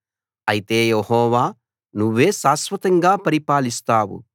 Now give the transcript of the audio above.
అయితే యెహోవా నువ్వే శాశ్వతంగా పరిపాలిస్తావు